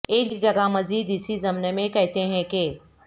ایک جگہ مذید اسی ضمن میں کہتے ہیں کہ